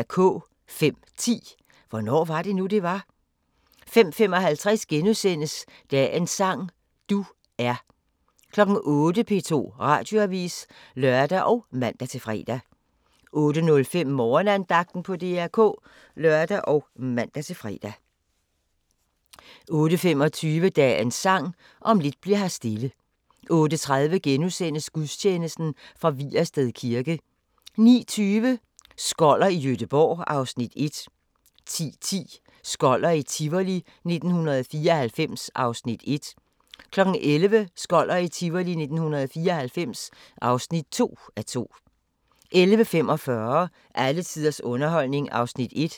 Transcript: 05:10: Hvornår var det nu, det var? 05:55: Dagens sang: Du er * 08:00: P2 Radioavis (lør og man-fre) 08:05: Morgenandagten på DR K (lør og man-fre) 08:25: Dagens Sang: Om lidt bli'r her stille 08:30: Gudstjeneste fra Vigersted kirke * 09:20: Skoller i Gøteborg (Afs. 1) 10:10: Skoller i Tivoli 1994 (1:2) 11:00: Skoller i Tivoli 1994 (2:2) 11:45: Alle tiders underholdning (1:8)